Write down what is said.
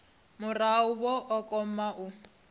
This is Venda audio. murahu vha o kona u